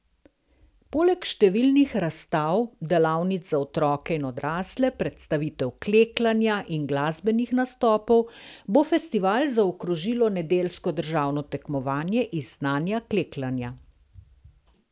Poleg številnih razstav, delavnic za otroke in odrasle, predstavitev klekljanja in glasbenih nastopov bo festival zaokrožilo nedeljsko državno tekmovanje iz znanja klekljanja.